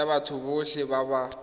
tsa batho botlhe ba ba